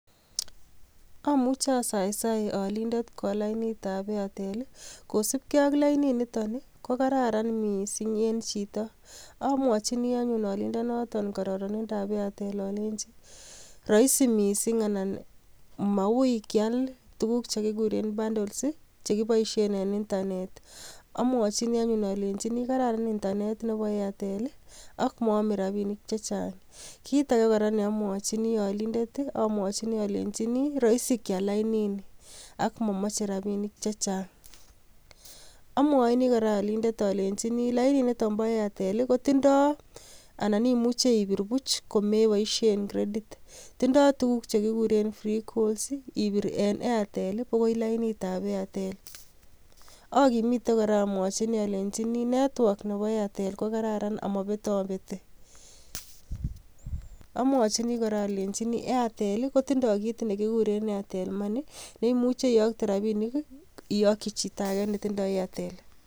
Amuche asaisai alinde kwal lainitab Airtel I,kosiibgee ak lainit nitok kokararan missing en chito, amwochini anyun alindonoton kororonindab Airtel alenyii roisi missing anan Maui kial tuguk chekikureen bundles chekiboishen en internet, amwochini anyun alenyinii kararan internet Nebo Airtel, ak mome rabinik chechang. Kitage neomwochini olindet olenyini roisi kial laininii ak momoche rabinik chechang. Amwochini kora olindet olenyii lainit nitok bo Airtel kotindoi anan imuche ibirte buch komeboishien credit. Tindo tuguuk chekikuuren free calls, ibur en Airtel bokoi lainitab Airtel, akimite missing olenyii network nebo Airtel kogiim ak mobetobetii, amwochini kora olenji Airtel kotindoi kit nekikureen Airtel money neimuche iyoktoen rabinik iyokchi chitoage netindo Airtel